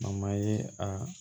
ye a